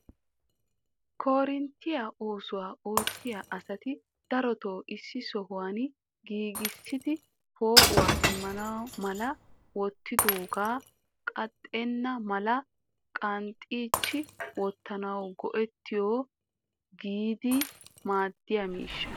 Koorinttiya oosuwaa oottiya asati darotoo issi sohuwaan giigissidi poo'uwaa immana mala wottidoooga qaaxxena mala qachchi wottanaw go"ettiyo gididi maadiyaa miishsha.